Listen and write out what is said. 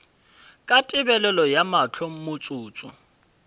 ka tebelego ya mahlo motsotso